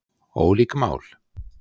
Ólík mál